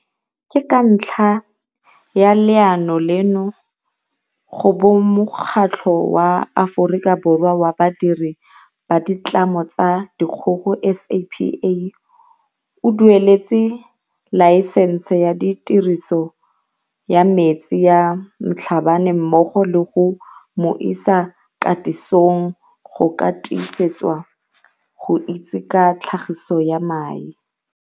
Ke ka ntlha ya leano leno go bo Mokgatlho wa Aforika Borwa wa Badiri ba Ditlamo tsa Dikgogo, SAPA, o dueletse laesense ya tiriso ya metsi ya Mhlabane mmogo le go mo isa katisong go ka tiisetswa go itse ka tlhagiso ya mae.